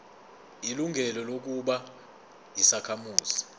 ilungelo lokuba yisakhamuzi